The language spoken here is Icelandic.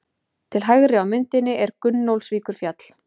Til hægri á myndinni er Gunnólfsvíkurfjall.